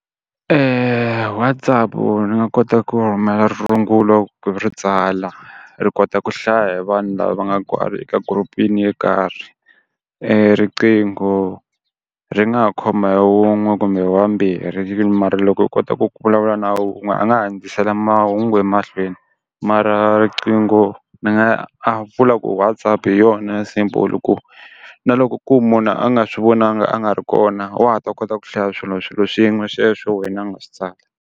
Eya Whatsapp ni nga kota ku rhumela rungulo ku ri tsala, ri kota ku hlaya hi vanhu lava va nga kwale ka group-ini yo karhi, riqingho ri nga ha khoma hi wun'we kumbe hi wambirhi mara loko u kota ku vulavula na wun'we a nga handzisela mahungu emahlweni, mara riqingho ni nga a vula ku Whatsapp hi yona simple ku na loko ku munhu a nga swi vonangi a nga ri kona wa ha ta kota ku hlaya swilo swilo swin'we sweswo wena a nga swi tsala.